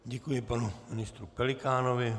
Děkuji panu ministru Pelikánovi.